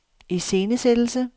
iscenesættelse